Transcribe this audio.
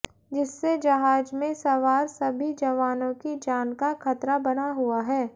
जिससे जहाज में सवार सभी जवानों की जान का खतरा बना हुआ है